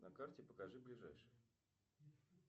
на карте покажи ближайший